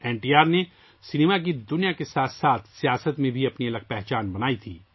N T R نے cinema کی دنیا کے ساتھ ساتھ سیاست میں بھی اپنی الگ شناخت بنائی تھی